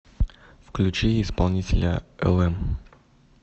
включи исполнителя элэм